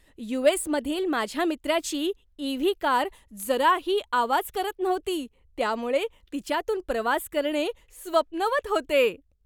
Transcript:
You. S. मधील माझ्या मित्राची ई. व्ही. कार जराही आवाज करत नव्हती त्यामुळे तिच्यातून प्रवास करणे स्वप्नवत होते.